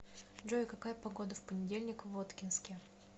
джой какая погода в понедельник в воткинске